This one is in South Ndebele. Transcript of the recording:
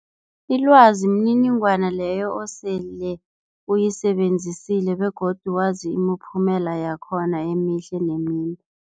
Ilwazi mniningwana leyo osele uyisebenzisile begodu wazi imiphumela yakhona emihle nemimbi.